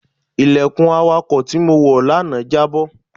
Ilẹ̀kùn awàkọ̀ tí mo wọ lánàá jábọ́.